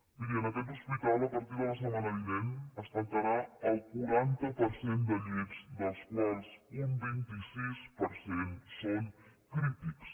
miri en aquest hospital a partir de la setmana vinent es tancarà el quaranta per cent de llits dels quals un vint sis per cent són crítics